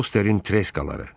Qosterin treskaları.